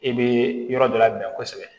E bɛ yɔrɔ dɔ labɛn kosɛbɛ